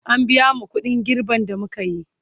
an biya mu ƙuɗin girben da mukayi